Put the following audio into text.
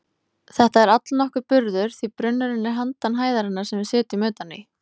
Þetta er allnokkur burður því brunnurinn er handan hæðarinnar sem við sitjum utan í.